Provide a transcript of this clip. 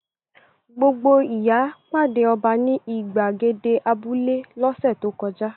Gbogbo ìyá pàdé ọba ní ìgbàgede abúlé lọ́sẹ̀ tó kọjá.